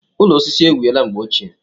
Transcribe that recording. Ụlọ osisi e wiela mgbe ochie.